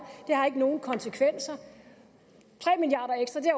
det har ikke nogen konsekvenser